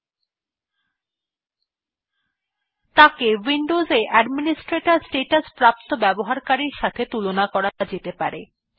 মূল ব্যবহারকারী কে উইন্ডোজে অ্যাডমিনিস্ট্রেটর স্ট্যাটাস প্রাপ্ত ব্যবহারকারীর সাথে তুলনা করা যেতে পারে